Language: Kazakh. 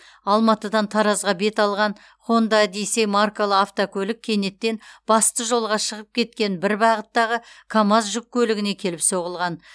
алматыдан таразға бет алған хонда одиссей маркалы автокөлік кенеттен басты жолға шығып кеткен бір бағыттағы камаз жүк көлігіне келіп соғылған